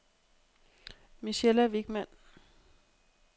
Michella Wichmann